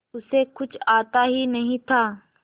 उसे कुछ आता ही नहीं था